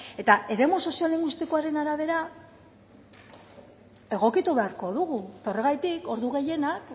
eta eremu soziolinguistikoaren arabera egokitu beharko dugu eta horregatik ordu gehienak